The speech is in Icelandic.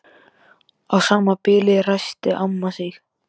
Í sama bili ræskti amma sig.